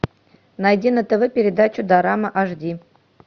найди на тв передачу дорама аш ди